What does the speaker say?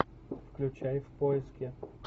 включай в поиске